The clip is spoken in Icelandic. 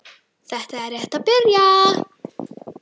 Þetta er rétt að byrja.